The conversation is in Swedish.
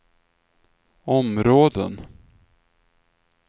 områden